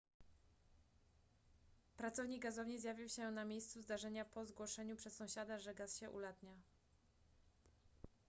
pracownik gazowni zjawił się na miejscu zdarzenia po zgłoszeniu przez sąsiada że gaz się ulatnia